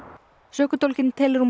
sökudólginn telur hún